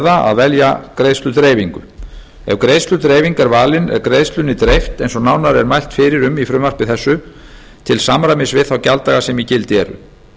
að velja greiðsludreifingu ef greiðsludreifing er valin er greiðslunni dreift eins og nánar er mælt fyrir um í frumvarpi þessu til samræmis við þá gjalddaga sem í gildi eru